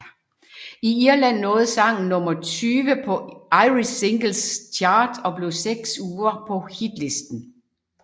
I Irland nåede sangen nummer 20 på Irish Singles Chart og blev seks uger på hitlisten